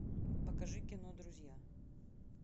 покажи кино друзья